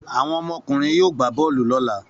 Àwọn ọmọkùnrin yóò gbà bọ́ọ́lù lọ́la.